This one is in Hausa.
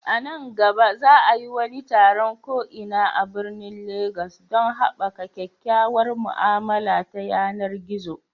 A nan gaba, za a yi wani taron ko'ina a birnin Legas don haɓaka kyakkyawar mu'amala ta yanar gizo.